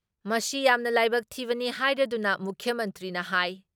ꯃꯁꯤ ꯌꯥꯝꯅ ꯂꯥꯏꯕꯛ ꯊꯤꯕꯅꯤ ꯍꯥꯏꯔꯗꯨꯅ ꯃꯨꯈ꯭ꯌ ꯃꯟꯇ꯭ꯔꯤꯅ ꯍꯥꯏ